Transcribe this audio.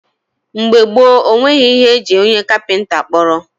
mgbe gboo, e nweghị ihe e ji onye kapịnta kpọrọ.